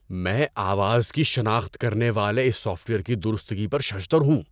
میں آواز کی شناخت کرنے والے اس سافٹ ویئر کی درستگی پر ششدر ہوں۔